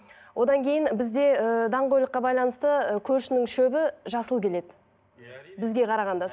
одан кейін бізде ыыы даңғойлыққа байланысты ы көршінің шөбі жасыл келеді бізге қарағанда